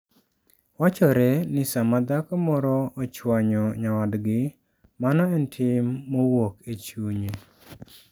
Wachore ni sama dhako moro ochwanyo nyawadgi, mano en tim mowuok e chunye.